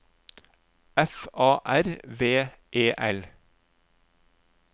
F A R V E L